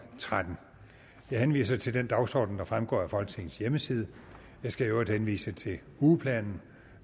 tretten jeg henviser til den dagsorden der fremgår af folketingets hjemmeside jeg skal i øvrigt henvise til ugeplanen